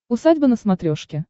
усадьба на смотрешке